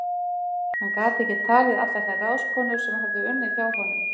Hann gat ekki talið allar þær ráðskonur sem höfðu unnið hjá honum.